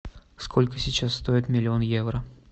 сколько сейчас стоит миллион евро